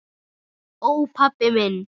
Ó, pabbi minn.